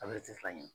A bɛ tɛ fila ɲɛ